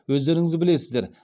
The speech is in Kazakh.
өздеріңіз білесіздер